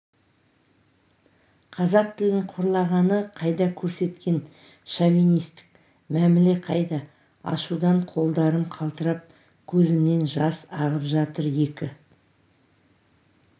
қазақ тілін қорлағаны қайда көрсеткен шовинистік мәміле қайда ашудан қолдарым қалтырап көзімнен жас ағып жатыр екі